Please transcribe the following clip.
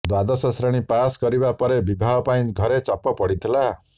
ଦ୍ୱାଦଶ ଶ୍ରେଣୀ ପାସ୍ କରିବା ପରେ ବିବାହ ପାଇଁ ଘରେ ଚାପ ପଡିଥିଲା